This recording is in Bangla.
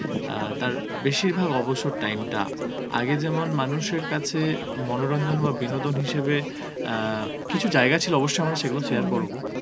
অ্যাঁ তার বেশির ভাগ অবসর time টা আগে যেমন মানুষের কাছে, মনোরঞ্জন বা বিনোদন হিসেবে অ্যাঁ কিছু জায়গা ছিল অবশ্য আমরা সেগুলো share করবো